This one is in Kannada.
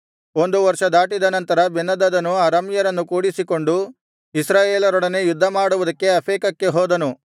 ಒಂದು ವರ್ಷ ದಾಟಿದ ನಂತರ ಬೆನ್ಹದದನು ಅರಾಮ್ಯರನ್ನು ಕೂಡಿಸಿಕೊಂಡು ಇಸ್ರಾಯೇಲರೊಡನೆ ಯುದ್ಧಮಾಡುವುದಕ್ಕೆ ಅಫೇಕಕ್ಕೆ ಹೋದನು